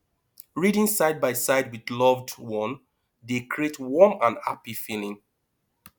reading side by side with loved one dey create warm and happy feeling